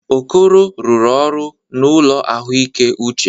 Okoro rụrụ ọrụ n'ụlọ ahụike uche.